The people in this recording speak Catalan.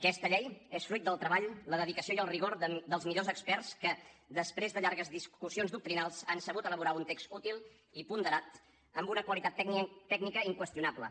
aquesta llei és fruit del treball la dedicació i el rigor dels millors experts que després de llargues discussions doctrinals han sabut elaborar un text útil i ponderat amb una qualitat tècnica inqüestionable